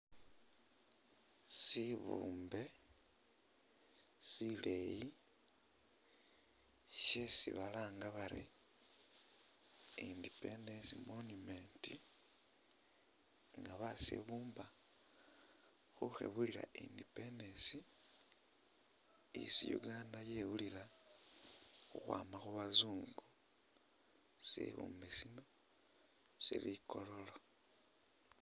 Sibumbe sileyi shesi balanga bari independence monument nga basibumba khukhebulila independence isi Uganda yewulila khukhwama khubazungu sibumbe sino sili i’kololo.